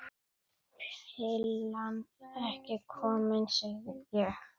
Pillan ekki komin, segi ég.